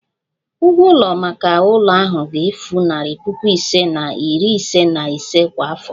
Ụgwọ ụlọ maka ụlọ ahụ ga-efu narị puku ise na iri ise na ise kwa afọ